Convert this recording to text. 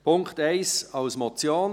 Punkt 1 als Motion: